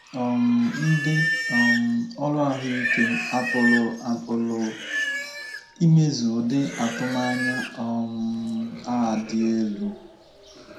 um Ndị um ọrụ ahụ ike apụrụ apụrụ imezu ụdị atụmanya um a dị elu?